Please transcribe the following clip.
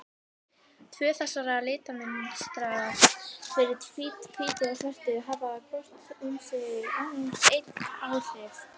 Tvö þessara litamynstra, fyrir hvítu og svörtu, hafa hvort um sig aðeins ein áhrif.